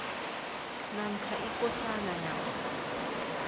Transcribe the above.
namkha ikosana namkha